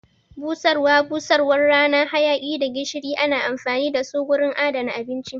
Busarwa, busarwan rana, hayaki da gishiri ana amfani dasu wurin adana abinci